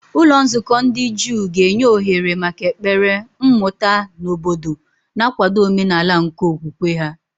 Ụlọ nzukọ ndị Juu ga-enye ohere maka ekpere, mmụta, na obodo, na-akwado omenala nke okwukwe ha.